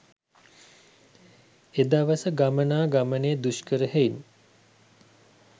එදවස ගමනා ගමනය දුෂ්කර හෙයින්